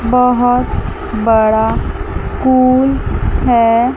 बहोत बड़ा स्कूल है।